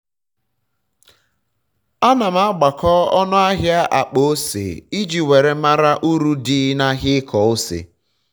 ana m agbakọ ọnụ ahia akpa ose iji um were mara um uru dị um na ahịa ịkọ ose